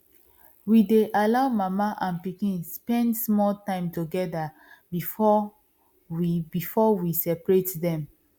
we dey allow mama and pikin spend small time together before we before we separate dem